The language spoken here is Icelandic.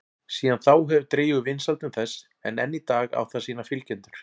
Síðan þá hefur dregið úr vinsældum þess en enn í dag á það sína fylgjendur.